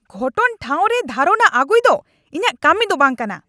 ᱜᱷᱚᱴᱚᱱ ᱴᱷᱟᱶ ᱨᱮ ᱫᱷᱟᱨᱚᱱᱟ ᱟᱹᱜᱩᱭ ᱫᱚ ᱤᱧᱟᱹᱜ ᱠᱟᱹᱢᱤ ᱫᱚ ᱵᱟᱝ ᱠᱟᱱᱟ ᱾